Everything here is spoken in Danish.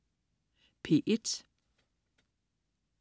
P1: